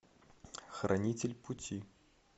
хранитель пути